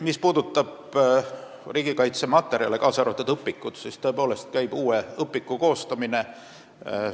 Mis puudutab riigikaitseõpetust, kaasa arvatud õpikuid, siis käib uue õpiku koostamine.